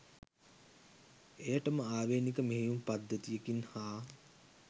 එයටම ආවේණික මෙහෙයුම් පද්ධතියකින් හා